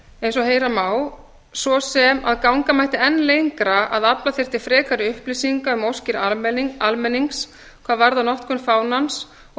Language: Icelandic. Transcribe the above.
og heyra má svo sem að ganga mætti enn lengra að afla þyrfti frekari upplýsinga um óskir almennings hvað varðar notkun fánans og að ef til vill